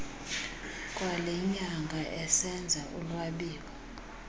kwalenyanga esenza ulwabiwo